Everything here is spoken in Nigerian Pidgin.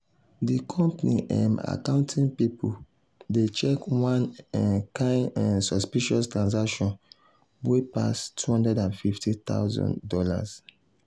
the company um accounting people dey check one um kind um suspicious transaction wey pass two hundred and fifty thousand dollars